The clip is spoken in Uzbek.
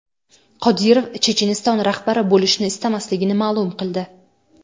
Qodirov Checheniston rahbari bo‘lishni istamasligini ma’lum qildi.